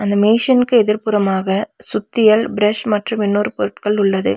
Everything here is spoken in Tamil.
இந்த மேஷின்கு எதிர்புறமாக சுத்திகள் பிரஷ் மற்றும் இன்னொரு பொருட்கள் உள்ளது.